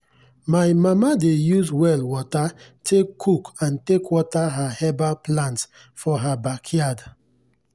my mama dey use well water take cook and take water her herbal plants for her backyard.